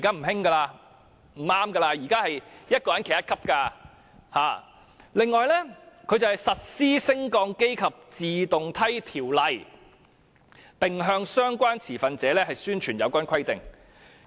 另外，這裏也說機電署實施《升降機及自動梯條例》，並向相關持份者宣傳有關規定。